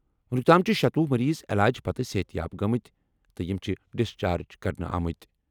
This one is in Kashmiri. وُنیُک تام چھِ شتوُہ مریض علاج پتہٕ صحت یاب گٔمٕتۍ تہٕ یِم چھِ ڈسچارج کرنہٕ آمٕتۍ۔